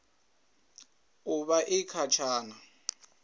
u vha i kha tshana